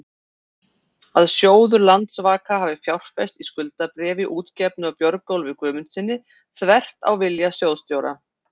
að sjóður Landsvaka hafi fjárfest í skuldabréfi útgefnu af Björgólfi Guðmundssyni, þvert á vilja sjóðsstjóra?